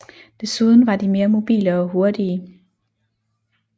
Desuden var de mere mobile og hurtige